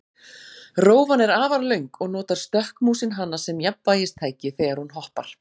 Rófan er afar löng og notar stökkmúsin hana sem jafnvægistæki þegar hún hoppar.